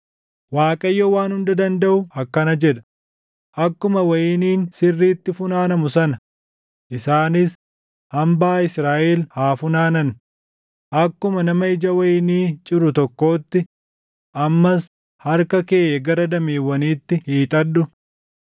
Waaqayyo Waan Hunda Dandaʼu akkana jedha: “Akkuma wayiniin sirriitti funaanamu sana, isaanis hambaa Israaʼel haa funaanan; akkuma nama ija wayinii ciru tokkootti; ammas harka kee gara dameewwaniitti hiixadhu.”